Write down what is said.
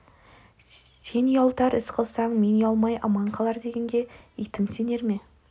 сен ұялтар іс қылсаң мен ұялмай аман қалар дегенге итім сенер ме